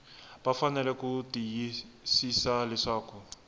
va fanele ku tiyisisa leswaku